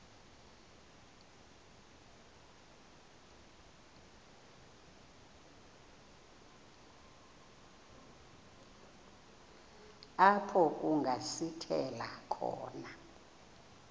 apho kungasithela khona